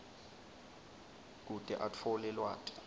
kute atfole lwati